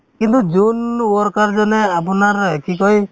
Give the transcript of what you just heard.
কিন্তু যোন worker যেনে আপোনাৰ এই কি কই